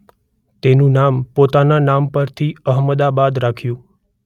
તેનું નામ પોતાના નામ પરથી અહમદાબાદ રાખ્યું.